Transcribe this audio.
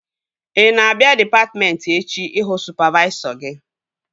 Ị na-abịa dịpatmentị echi ịhụ sụpavaisọ gị?